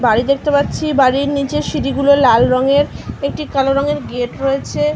বাড়ি দেখতে পাচ্ছি বাড়ির নিচের সিঁড়ি গুলো লাল রঙের একটি কালো রঙের গেট রয়েছে --